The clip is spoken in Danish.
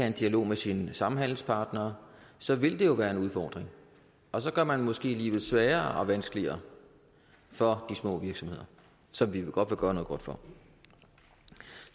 en dialog med sine samhandelspartnere så vil det jo være en udfordring og så gør man måske livet sværere og vanskeligere for de små virksomheder som vi godt vil gøre noget godt for